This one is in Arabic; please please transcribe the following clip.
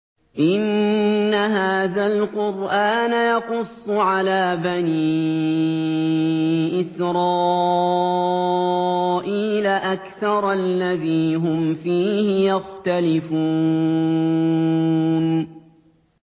إِنَّ هَٰذَا الْقُرْآنَ يَقُصُّ عَلَىٰ بَنِي إِسْرَائِيلَ أَكْثَرَ الَّذِي هُمْ فِيهِ يَخْتَلِفُونَ